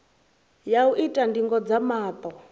ya u ita ndingo dza maṱo